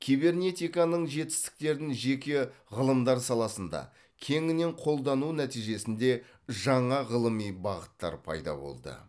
кибернетиканың жетістіктерін жеке ғылымдар саласында кеңінен қолдану нәтижесінде жаңа ғылыми бағыттар пайда болды